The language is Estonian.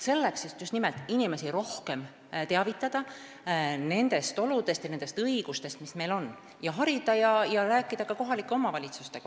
Selleks, et just nimelt rohkem teavitada nendest oludest ja õigustest, mis meil on, et inimesi harida ja rääkida kohalike omavalitsustega.